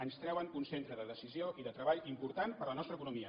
ens treuen un centre de decisió i de treball important per a la nostra economia